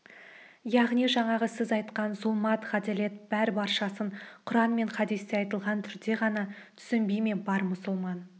яғни жаңағы сіз айтқан зұлмат ғаделет бәр-баршасын құран мен хадісте айтылған түрде ғана түсінбей ме бар мұсылман